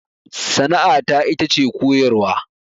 Sana'a ta ita ce koyarwa